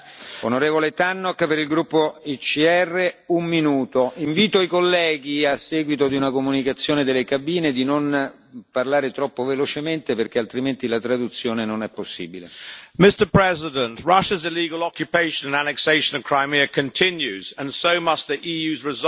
Mr President, Russia's illegal occupation and annexation of Crimea continues, and so must the EU's resolve to protest about its action.